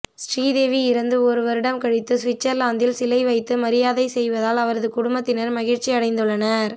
ஸ்ரீதேவி இறந்து ஒரு வருடம் கழித்தும் சுவிட்சர்லாந்தில் சிலை வைத்து மரியாதை செய்வதால் அவரது குடும்பத்தினர் மகிழ்ச்சி அடைந்துள்ளனர்